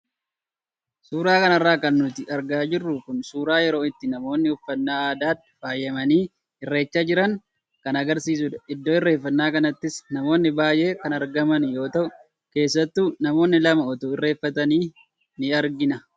Suura kanarraa kan nuti argaa jirru kun suuraa yeroo itti namoonni uffannaa aadaan faayamanii irreeffachaa jiran kan agarsiisudha. Iddoo irreeffannaa kanattis namoonni baayee kan argamani yoo tahu keessattuu namoonni lama utuu irreeffatani in argina.